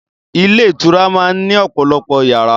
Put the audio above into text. Ilé ìtura máa ń ní ọ̀pọ̀lọpọ̀ yàrá.